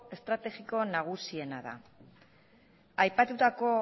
estrategiko nagusiena da aipatutako